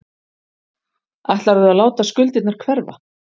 Ætlarðu að láta skuldirnar hverfa?